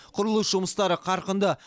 құрылыс жұмыстары қарқынды